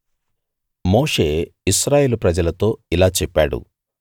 మోషే ఇశ్రాయేలు ప్రజలతో ఇలా చెప్పాడు